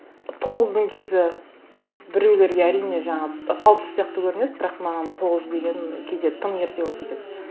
тоғыздың кезі біреулерге әрине жаңа тал түс сияқты көрінеді бірақ маған тоғыз деген кейде тым ерте болып кетеді